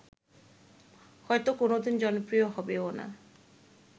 হয়ত কোনদিন জনপ্রিয় হবেও না